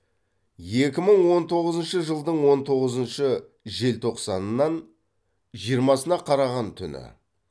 екі мың он тоғызыншы жылдың он тоғызыншы желтоқсанынан жиырмасына қараған түні